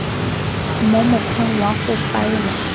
mo mokgweng wa go faela